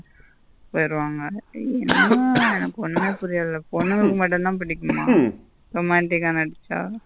போயிருவாங்க என்ன எனக்கு ஒன்னுமே புரியல பொண்ணுங்களுக்கு மட்டும்த பிடிக்கும்மா romantic ஆ நடிச்ச.